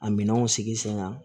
A minɛnw sigi sen kan